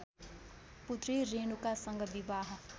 पुत्री रेणुकासँग विवाह